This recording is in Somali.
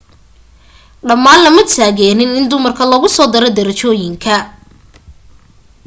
dhammaan lama taageeriin in dumarka lagu soo daro darajooyinka